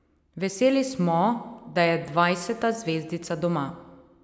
Veseli smo, da je dvajseta zvezdica doma.